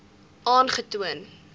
aangetoon